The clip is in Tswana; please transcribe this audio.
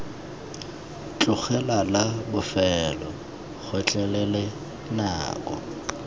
tlogela la bofelo gotlhelele nako